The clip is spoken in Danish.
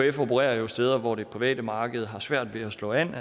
ekf opererer jo steder hvor det private marked har svært ved at slå an